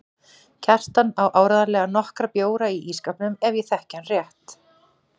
Kjartan á áreiðanlega nokkra bjóra í ísskápnum ef ég þekki hann rétt.